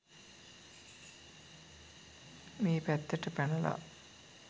මේ පැත්තට පැනලා